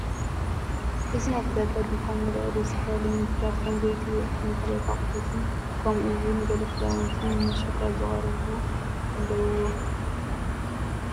እዚ ናይ ዕዳጋ ድኳን ይርአ ኣሎ፤ ዝተፈላለዩ ምግብታት ከም ዘይቲ፣ እኽልን ካልኦት ኣቑሑትን ከምኡ እውን ገለ ክዳውንቲ ንመሸጣ ዝተቐርቡ ኣለውዎ።